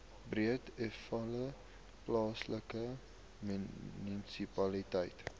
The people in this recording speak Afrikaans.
breedevallei plaaslike munisipaliteit